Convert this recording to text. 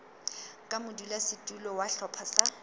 ka modulasetulo wa sehlopha sa